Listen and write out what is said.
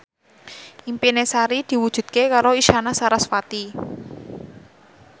impine Sari diwujudke karo Isyana Sarasvati